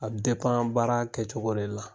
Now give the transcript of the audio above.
A bɛ baara kɛcogo de la